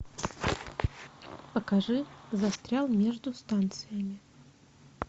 покажи застрял между станциями